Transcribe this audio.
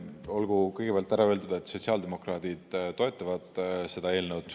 Olgu kõigepealt ära öeldud, et sotsiaaldemokraadid toetavad seda eelnõu.